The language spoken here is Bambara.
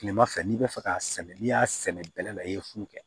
Kilema fɛ n'i bɛ fɛ k'a sɛnɛ n'i y'a sɛnɛ bɛlɛ la i ye fu kɛ